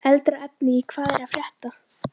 Eldra efni í Hvað er að frétta?